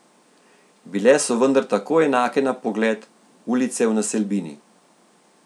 Bile so vendar tako enake na pogled, ulice v naselbini.